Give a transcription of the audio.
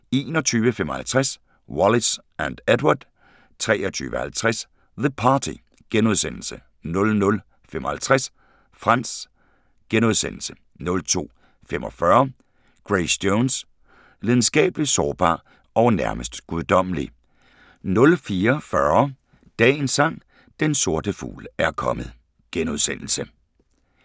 21:55: Wallis & Edward 23:50: The Party * 00:55: Frantz * 02:45: Grace Jones – Lidenskabelig, sårbar og nærmest guddommelig 04:40: Dagens Sang: Den sorte fugl er kommet *